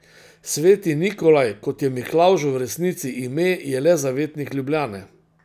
Sveti Nikolaj, kot je Miklavžu v resnici ime, je le zavetnik Ljubljane.